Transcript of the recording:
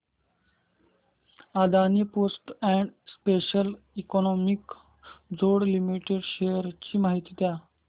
Adani ports and special economic zone limited shares ची माहिती द्या